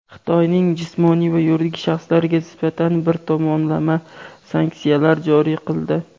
Xitoyning jismoniy va yuridik shaxslariga nisbatan bir tomonlama sanksiyalar joriy qildi.